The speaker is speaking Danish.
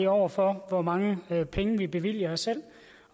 over for hvor mange penge vi bevilger os selv